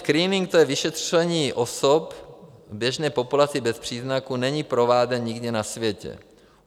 Screening, to je vyšetření osob v běžné populaci bez příznaků, není prováděn nikde na světě.